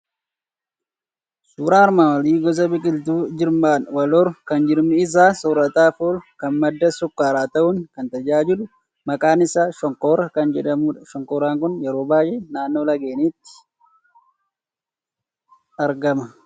Suuraan armaan olii gosa biqiltuu jirmaan wal horu, kan jirmi isaa soorataaf oolu, kan madda sukkaaraa ta'uun kan tajaajilu, maqaan isaa shonkoraa kan jedhamudha. Shonkoraan kun yeroo baay'ee, naannoo laggeeniitti argama.